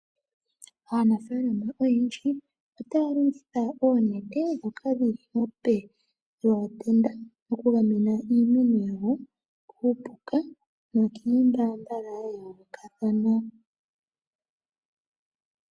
Aanafalama oyendji ota ya longitha oonete ndhoka dhili molupe lwootenda mokugamena iimuna yawo kuupuka nokiimbambala ya yoolokathana.